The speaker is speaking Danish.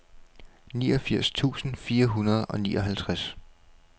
niogfirs tusind fire hundrede og nioghalvtreds